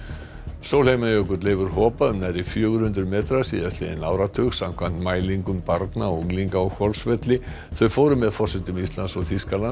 sólheimajökull hefur hopað um nærri fjögur hundruð metra síðastliðinn áratug samkvæmt mælingum barna og unglinga á Hvolsvelli þau fóru með forsetum Íslands og Þýskalands